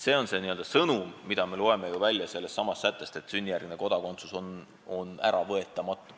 See on sõnum, mille me loeme ju välja sellestsamast sättest, et sünnijärgne kodakondsus on äravõetamatu.